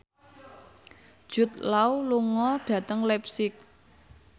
Jude Law lunga dhateng leipzig